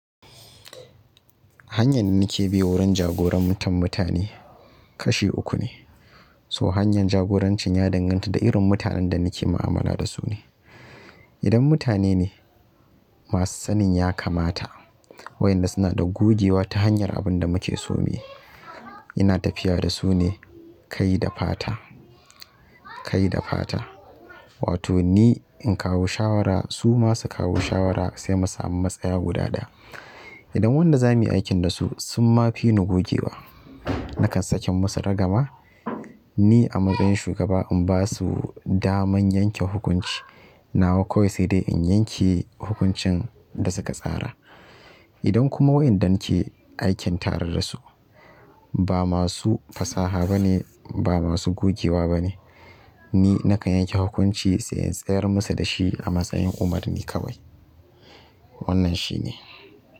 Hanyar da nake bi wurin jagoran tan mutane kashi uku ne. So hanyar jagorancin ya danganta da irin mutanen da nake mu'amala dasu ne. Idan mutane ne masu sanin ya kamata, wayanda suna da gogewa ta hanyar abin da muke so muyi, ina tafiya da su ne kai da fata, kai da fata. Wato ni in kawo shawara su ma su kawo shawara sai mu samu matsaya guda ɗaya. Idan wanda za muyi aiki dasu sun ma fi ni gogewa, nakan saki musu ragama. Ni a matsayin shugaba in basu daman yanke hukunci, nawa kawai sai dai in yanke hukuncin da suka tsara. Idan kuma wayanda nake aikin tare dasu ba masu fasaha bane, ba masu gogewa bane ni nakan yanke hukunci sai in tsayar musu dashi a matsayin umarni kawai. Wannan shine.